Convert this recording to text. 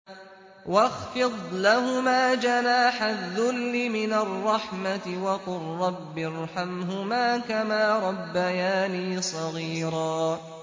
وَاخْفِضْ لَهُمَا جَنَاحَ الذُّلِّ مِنَ الرَّحْمَةِ وَقُل رَّبِّ ارْحَمْهُمَا كَمَا رَبَّيَانِي صَغِيرًا